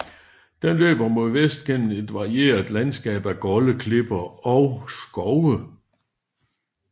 Den løber mod vest gennem et varieret landskab af golde klipper og skove